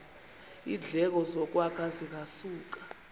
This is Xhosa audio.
iindleko zokwakha zingasuka